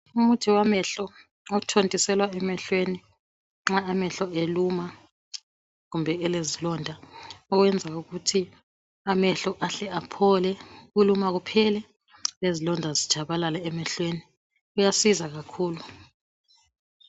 Umuthi wamehlo othontiselwa emehlweni nxa amehlo eluma kumbe elezilonda okwenza ukuthi amehlo aphole ukuluma kuphele lezilonda zitshabalale emehlweni uyasiza kakhulu.